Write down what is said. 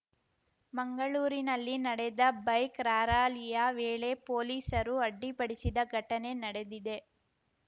ಮಂಗಳೂರಿನಲ್ಲಿ ನಡೆದ ಬೈಕ್‌ ರಾರ‍ಯಲಿಯ ವೇಳೆ ಪೊಲೀಸರು ಅಡ್ಡಿಪಡಿಸಿದ ಘಟನೆ ನಡೆದಿದೆ